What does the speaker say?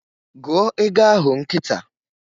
Gụọ égo ahụ nkịta!